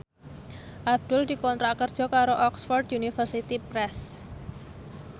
Abdul dikontrak kerja karo Oxford University Press